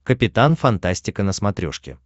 капитан фантастика на смотрешке